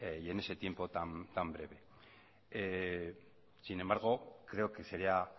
y en ese tiempo tan breve sin embargo creo que sería